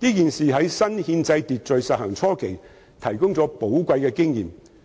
這事也在新憲制秩序實行初期提供了寶貴的經驗。